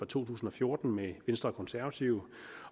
to tusind og fjorten med venstre og konservative